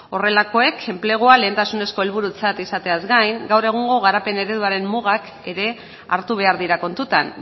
horrelakoek enplegua lehentasunezko helburutzat izateaz gain gaur egungo garapen ereduaren mugak ere hartu behar dira kontutan